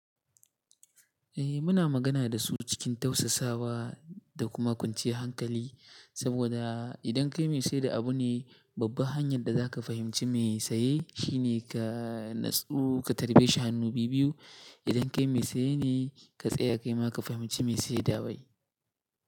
Eh muna magana da su cikin tausasawa da kuma kwanciyar hankali, saboda idan kai mai sayar da abu ne, babbar hanyar da za ka fahimci mai saye shine ka natsu, ka karbe shi hannu biyu biyu. Idan kai mai saye ne, ka tsaya kai ma ka fahimci mai saye dawai.